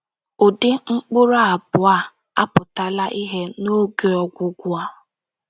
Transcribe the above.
Ụdị mkpụrụ abụọ a apụtala ìhè n’oge ọgwụgwụ a.